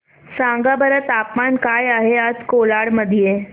सांगा बरं तापमान काय आहे आज कोलाड मध्ये